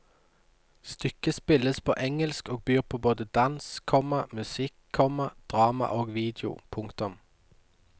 Stykket spilles på engelsk og byr på både dans, komma musikk, komma drama og video. punktum